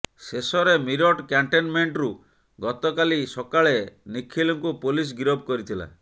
ଶେଷରେ ମିରଟ୍ କ୍ୟାଣ୍ଟନମେଣ୍ଟରୁ ଗତକାଲି ସକାଳେ ନିଖିଲଙ୍କୁ ପୋଲିସ ଗିରଫ କରିଥିଲା